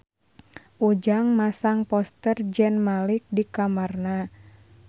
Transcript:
Ujang masang poster Zayn Malik di kamarna